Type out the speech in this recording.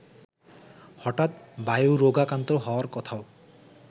হঠাৎ বায়ুরোগাক্রান্ত হওয়ার কথাও